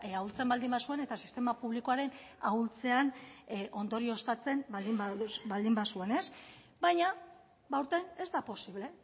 ahultzen bazuen eta sistema publikoaren ahultzean ondorioztatzen baldin bazuen baina aurten ez da posible